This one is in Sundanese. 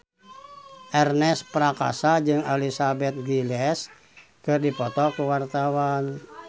Ernest Prakasa jeung Elizabeth Gillies keur dipoto ku wartawan